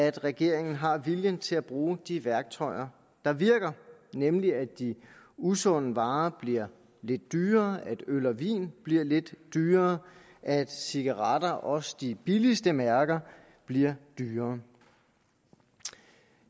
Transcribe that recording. at regeringen har viljen til at bruge de værktøjer der virker nemlig at de usunde varer bliver lidt dyrere at øl og vin bliver lidt dyrere at cigaretter også de billigste mærker bliver dyrere